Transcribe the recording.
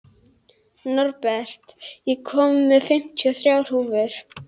Norbert, ég kom með fimmtíu og þrjár húfur!